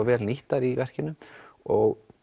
vel nýttar í verkinu og